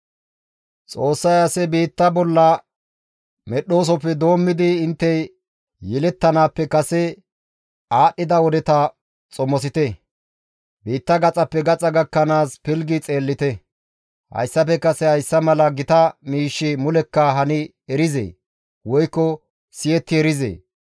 «Xoossay ase biitta bolla medhdhoosofe doommidi intte yelettanaappe kase aadhdhida wodeta xomosite; biitta gaxappe gaxa gakkanaas pilggi xeellite; hayssafe kase hayssa mala gita miishshi mulekka hani erizee? Woykko siyetti erizee?